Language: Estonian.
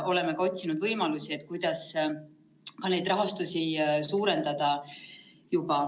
Oleme juba otsinud ka võimalusi, kuidas rahastust suurendada.